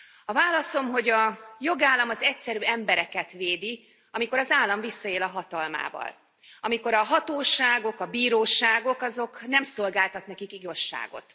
A válaszom, hogy a jogállam az egyszerű embereket védi, amikor az állam visszaél a hatalmával, amikor a hatóságok, a bíróságok nem szolgáltatnak nekik igazságot.